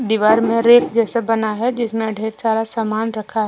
दीवार में रेक जैसा बना है जिसमें ढेर सारा सामान रखा है।